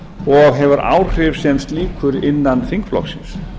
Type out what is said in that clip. og hefur áhrif sem slíkur innan þingflokksins